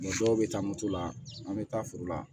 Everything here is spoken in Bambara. dɔw bɛ taa moto la an bɛ taa foro la